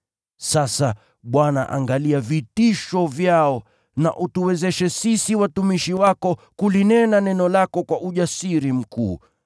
Sasa, Bwana angalia vitisho vyao na utuwezeshe sisi watumishi wako kulinena neno lako kwa ujasiri mkuu.